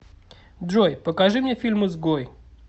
джой покажи мне фильм изгой